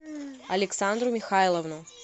александру михайловну